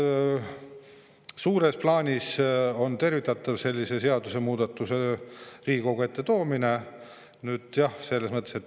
Suures plaanis aga on sellise seadusemuudatuse Riigikogu ette toomine tervitatav.